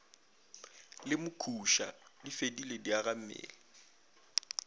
le mokhuša di fedile diagammele